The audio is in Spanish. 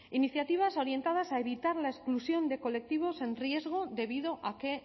iniciativas orientadas a evitar la exclusión de colectivos en riesgo debido a que